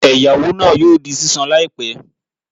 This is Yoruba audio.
Ẹ̀yáwó náà yóò di sísan láìpẹ́